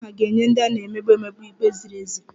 Amadioha ga-enye ndị a na-emegbu emegbu ikpe ziri ezi